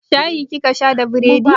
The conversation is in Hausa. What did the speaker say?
Shayi kika sha da bredin?